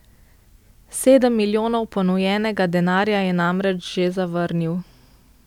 Sedem milijonov ponujenega denarja je namreč že zavrnil.